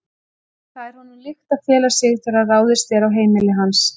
Það er honum líkt að fela sig þegar ráðist er á heimili hans.